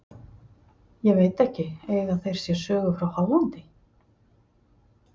Ég veit ekki, eiga þeir sér sögu frá Hollandi?